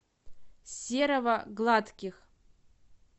серого гладких